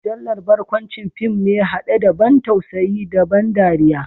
Mujallar barkwanci fim ne hade da ban tausayi da ban dariya.